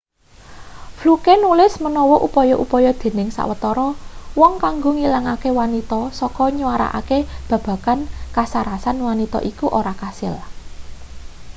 fluke nulis menawa upaya-upaya dening sawetara wong kanggo ngilangke wanita saka nyuarakake babagan kasarasan wanita iku ora kasil